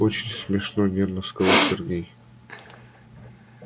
очень смешно нервно сказал сергей